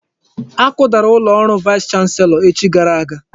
Akudara ụlọ ọrụ vaịs chanselọ echi gara aga.